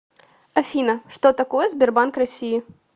афина что такое сбербанк россии